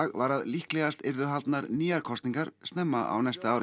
var að líklegast yrðu haldnar nýjar kosningar snemma á næsta ári